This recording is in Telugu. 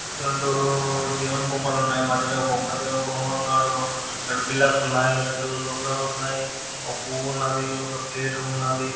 రెండూ దేవుని బొమ్మలు ఉన్నాయి. మధ్యలో ఒక దేవుని బొమ్మ కూడా ఉన్నారు. రెండు పిల్లర్స్ ఉన్నాయి. రెండు గోపురాలు ఉన్నాయి. ఒక పువ్వు ఉన్నదీ. ఒక ప్లేట్ ఉన్నాది .